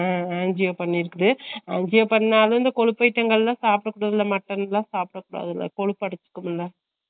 உம் உம் angio பண்ணிருக்குது, angio பண்ணாலும் இந்த கொழுப்பு item ங்க எல்லா சாப்பிட கூடாது mutton எல்லா சாப்பிட கூடாதுல கொழுப்பு அடச்சுகுரும்ல